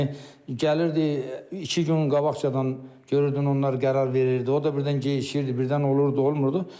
Yəni gəlirdi, iki gün qabaqcadan görürdün onlar qərar verirdi, o da birdən geciyirdi, birdən olurdu, olmurdu.